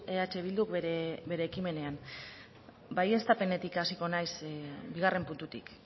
eh bilduk bere ekimenean baieztapenetik hasiko naiz bigarren puntutik